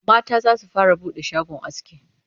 mata zasu fara buɗe shagon aski